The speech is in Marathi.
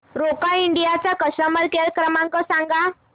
रोका इंडिया चा कस्टमर केअर क्रमांक सांगा